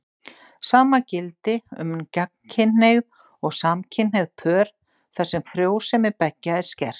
Sama gildi um gagnkynhneigð og samkynhneigð pör, þar sem frjósemi beggja er skert.